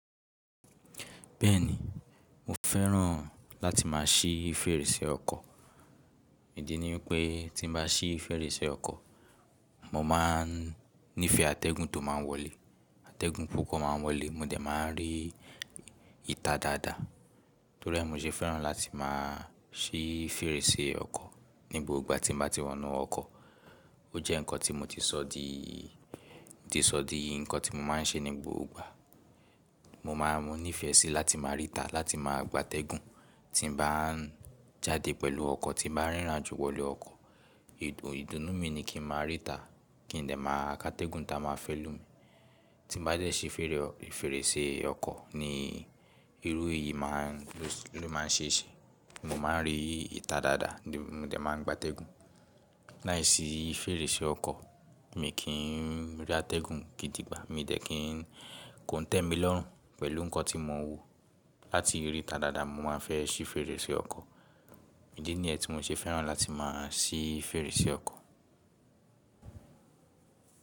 Bẹ́ẹ̀ni, mo fẹ́ràn láti má a ṣí fèrèsé ọkọ̀. Ìdí ni pé tí n bá ṣí fèrèsé ọkọ̀, mo máa n nífẹ̀ẹ́ àtẹ́gùn tó máa wọlé. Àtẹ́gùn púpọ̀ máa wọlé mo dẹ̀ máa ń rí ìta dáadáa. Torí ẹ mi ṣe fẹ́ràn láti má a ṣí fèrèsé ọkọ̀ ní gbogbo igba tí mo bá ti wọnú ọkọ̀. O jẹ́ nǹkan tí mo ti sọ di, ti sọ di nǹkan tí mo máa n ṣe ní gbogbo igba. Mo máa n mo nífẹ̀ẹ́ síi láti má a rí ìta, láti máa gba àtẹ́gùn tí n bá jáde pẹ̀lú ọkọ̀, tí n bá rírin ajo wọlé ọkọ̀. Ìdùnnú mi ni kí n má a rí ìta, kí n lè máa ka àtẹ́gùn ta máa fẹ́ lù mí. Tí n bá jẹ́ ṣe fèrèsé ọkọ̀ ni irú èyí ló máa n ṣe ṣe. Mo máa ń rí ìta dáadáa ni mo dẹ̀ máa ń gba àtẹ́gùn. Láìsí fèrèsé ọkọ̀ mi kì í rí àtẹ́gùn gidi gbá, mi dẹ̀ kì í kó tẹ́mi lọ́rùn pẹ̀lú nǹkan tí mo wò. Láti rí ìta dáadáa mo máa fẹ́ ṣí fèrèsé ọkọ̀. Ìdí nìyẹn tí mo ṣe fẹ́ràn láti máa ṣí fèrèsé ọkọ̀.